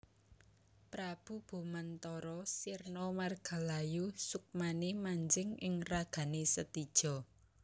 Prabu Bomantara sirna margalayu sukmané manjing ing ragané Setija